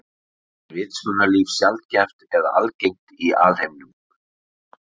Er vitsmunalíf sjaldgæft eða algengt í alheiminum?